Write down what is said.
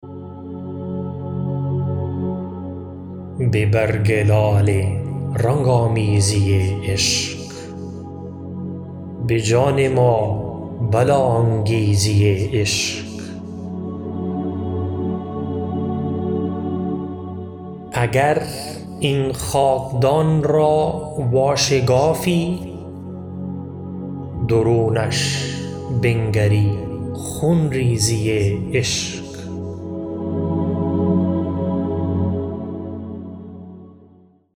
به برگ لاله رنگ آمیزی عشق به جان ما بلا انگیزی عشق اگر این خاکدان را واشگافی درونش بنگری خونریزی عشق